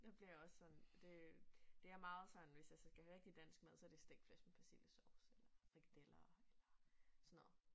Jeg bliver også sådan det det er meget sådan hvis jeg så skal have rigtig dansk mad så det stegt flæsk med persillesovs eller frikadeller eller sådan noget